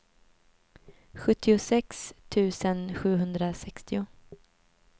sjuttiosex tusen sjuhundrasextio